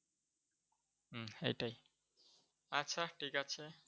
হম সেটাই। আচ্ছা ঠিক আছে।